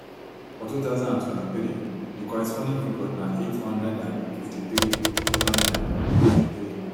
for two thousand and twenty-three di corresponding figure na eight hundred and fifty-three eight hundred and fifty-three